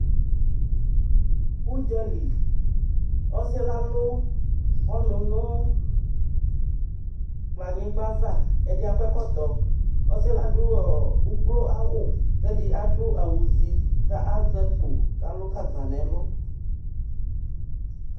Ʋdza li Ɔsɩ yɛ alʋ ɔnʋ nʋ kplɔanyɩgba ava Ɛdɩ akɔ ɛkɔtɔ Ɔsɩ yɛ adʋ ɔ ukloawʋ kʋ ɛdɩ adʋ awʋzi kʋ azɛ akpo kʋ alʋ gagba nʋ ɛlʋ